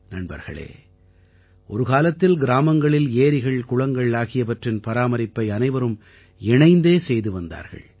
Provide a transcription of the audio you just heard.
நண்பர்களே ஒரு காலத்தில் கிராமங்களில் ஏரிகள்குளங்கள் ஆகியவற்றின் பராமரிப்பை அனைவரும் இணைந்தே செய்து வந்தார்கள்